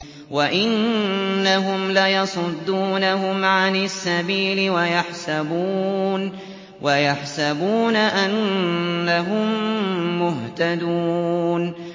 وَإِنَّهُمْ لَيَصُدُّونَهُمْ عَنِ السَّبِيلِ وَيَحْسَبُونَ أَنَّهُم مُّهْتَدُونَ